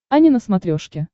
ани на смотрешке